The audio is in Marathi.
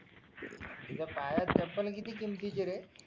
तुझ्या पायात चप्पल किती किमतीची रे